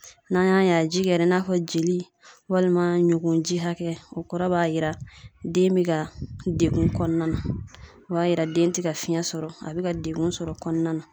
N'an y'a ye a ji kɛra i n'a fɔ jeli walima bugurunji hakɛ, o kɔrɔ b'a jira den bɛ ka degun kɔnɔna na, o b'a yira den tɛ ka fiɲɛ sɔrɔ ,a bɛ ka degun sɔrɔ o kɔnɔna na.